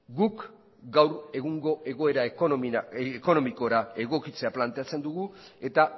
guk gaur egungo egoera ekonomikora egokitzea planteatzen dugu eta